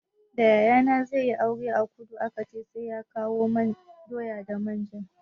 Da yayana zai yi aure a kudu aka ce sai ya kawo doya da manja.